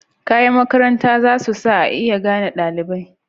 Kayan makaranta zasu sa a iya gane dalibai.